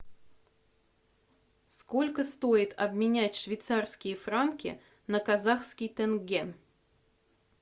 сколько стоит обменять швейцарские франки на казахский тенге